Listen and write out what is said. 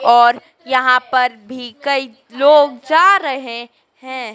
और यहां पर भी कई लोग जा रहे है।